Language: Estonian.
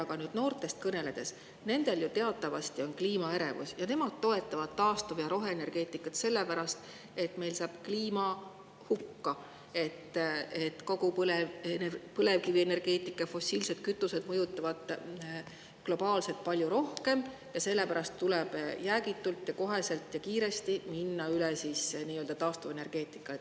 Aga nüüd noortest kõneledes, neil on ju teatavasti kliimaärevus ning nad toetavad taastuv- ja roheenergeetikat sellepärast, et kliima saab hukka, kogu põlevkivienergeetika ja fossiilsed kütused mõjutavad globaalselt palju rohkem ja sellepärast tuleb jäägitult, koheselt ja kiiresti minna üle taastuvenergeetikale.